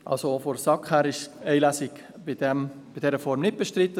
Auch vonseiten der SAK ist eine Lesung bei dieser Form nicht bestritten;